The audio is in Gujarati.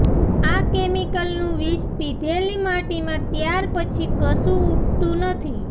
આ કેમિકલનું વિષ પીધેલી માટીમાં ત્યાર પછી કશું ઊગતું નથી